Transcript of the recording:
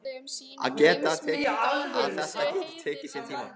Að þetta geti tekið sinn tíma.